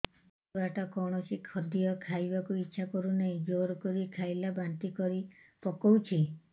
ଛୁଆ ଟା କୌଣସି ଖଦୀୟ ଖାଇବାକୁ ଈଛା କରୁନାହିଁ ଜୋର କରି ଖାଇଲା ବାନ୍ତି କରି ପକଉଛି